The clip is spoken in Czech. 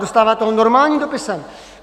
Dostáváte ho normálním dopisem.